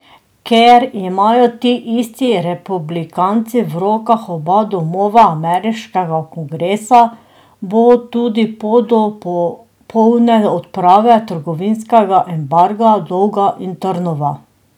Ker imajo ti isti republikanci v rokah oba domova ameriškega kongresa, bo tudi pot do popolne odprave trgovinskega embarga dolga in trnova.